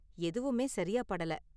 எதுவுமே சரியா படல.